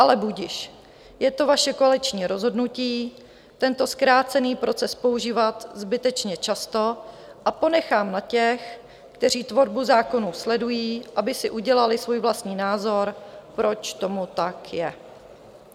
Ale budiž, je to vaše koaliční rozhodnutí tento zkrácený proces používat zbytečně často a ponechám na těch, kteří tvorbu zákonů sledují, aby si udělali svůj vlastní názor, proč tomu tak je.